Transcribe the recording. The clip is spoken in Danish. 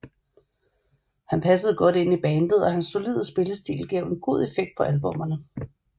Han passede godt ind i bandet og hans solide spillestil gav en god effekt på albummerne